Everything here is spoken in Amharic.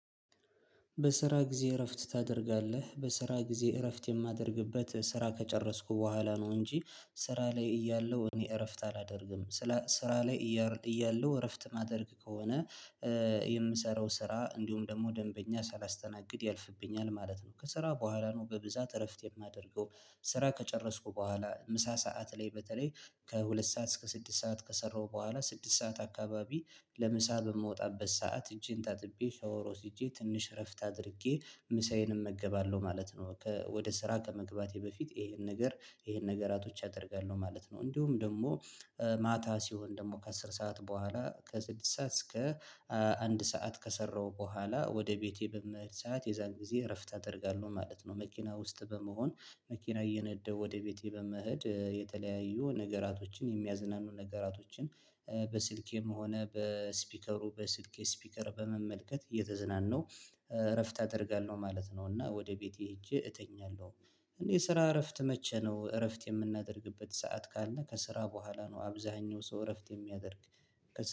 በስራ ጊዜ እረፍት ታደርጋለህ በስራ ጊዜ እረፍት የማደርግበት ስራ ከጨረስኩ በኋላ ነው እንጂ። ስራ ላይ እያለው እኔ እረፍት አላደርግም ስለ ስራ ላይ እያለው እረፍት ማደርግ ከሆነ። የምሰራው ስራ እንዲሁም ደግሞ ደንበኛ ሳላስተናግድ ያልፍብኛል ማለት ነው። ከስራ በኋላ ነው በብዛት እረፍት የማደርገው ስራ ከጨረስኩ በኋላ ምሳ ሰዓት ላይ በተለይ ከሁለት ሰዓት እስከ ስድስት ሰዓት ከሰራሁ በኋላ ስድስት ሰዓት አካባቢ። ለምሳ በምወጣበት ሰዓት እጄን ታጥቤ ሻወር ወስጄ ትንሽ እረፍት አድርጌ ምሳዬንም እመገባለሁ ማለት ነው። ከ ወደ ስራ ከመግባቴ በፊት ይሄን ነገር ይሄን ነገራቶች አደርጋለሁ ማለት ነው። እንዲሁም ደግሞ ማታ ሲሆን ደግሞ ከአስር ሰዓት በኋላ ከስድስት ሰዓት እስከ አንድ ሰዓት ከሰራው በኋላ ወደ ቤቴ በምሄድ ሰዓት የዛን ጊዜ እረፍት አደርጋለሁ ማለት ነው። መኪና ውስጥ በመሆን መኪና እየነደሁ ወደ ቤቴ በመሄድ የተለያዩ ነገራቶችን የሚያዝናኑ ነገራቶችን በስልኬም ሆነ በስፒከሩ በስልኬ ስፒከር በመመልከት እየተዝናነሁ እረፍት አደርጋለሁ ማለት ነው። እና ወደ ቤቴ ሄጄ እተኛለሁ። እና የስራ እረፍት መቼ ነው እረፍት የምናደርግበት ሰዓት ካለ ከስራ በኋላ ነው አብዛኛው ሰው እረፍት የሚያደርገው